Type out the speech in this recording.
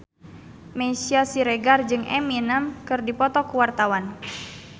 Meisya Siregar jeung Eminem keur dipoto ku wartawan